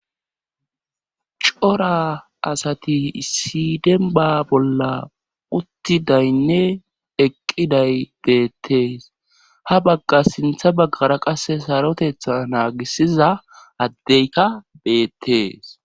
cora asati issi denba bolla uttidaynne eqqiday beettees ha bagga sintha baggara qasse sarotetha naagisiza addeyka beettees